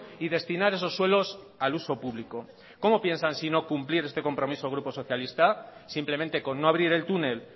y destinar esos suelos al uso público cómo piensan si no cumplir este compromiso el grupo socialista simplemente con no abrir el túnel